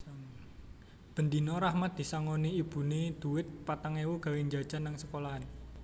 Ben dino Rahmat disangoni ibune dhuwit petang ewu gawe njajan nang sekolahan